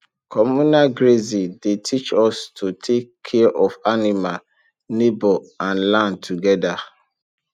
communal grazing dey teach us to take care of animal neighbour and land together